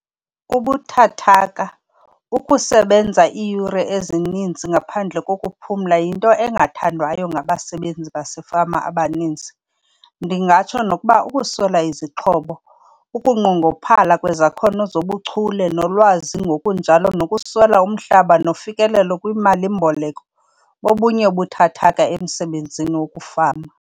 Ubuthathaka- Ukusebenza iiyure ezininzi ngaphandle kokuphumla yinto engathandwayo ngabasebenzi basefama abaninzi. Ndingatsho nokuba ukuswela izixhobo, ukunqongophala kwezakhono zobuchule nolwazi ngokunjalo nokuswela umhlaba nofikelelo kwiimali-mboleko bobunye ubuthathaka emsebenzini wokufama.